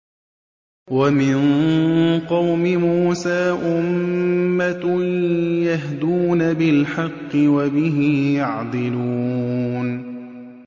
وَمِن قَوْمِ مُوسَىٰ أُمَّةٌ يَهْدُونَ بِالْحَقِّ وَبِهِ يَعْدِلُونَ